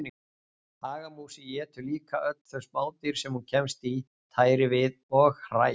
Hagamúsin étur líka öll þau smádýr sem hún kemst í tæri við og hræ.